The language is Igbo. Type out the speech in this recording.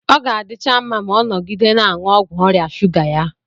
Ọ ga-adịcha mma ma ọ nọgide na-aṅụ ọgwụ ọrịa shuga ya.